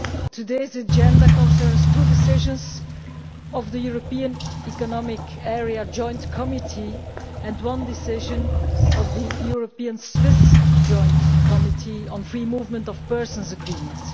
today's agenda concerns two decisions of the European Economic Area Joint Committee and one decision of the EU Swiss Joint Committee on the Free Movement of Persons Agreement.